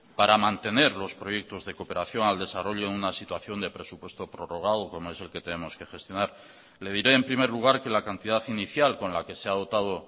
para mantener los proyectos de cooperación al desarrollo en una situación de presupuesto prorrogado como es el que tenemos que gestionar le diré en primer lugar que la cantidad inicial con la que se ha dotado